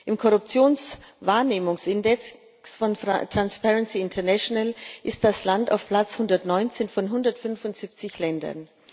Im Korruptionswahrnehmungsindex von Transparency International steht das Land auf Platz 119 von 175 Ländern.